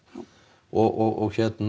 og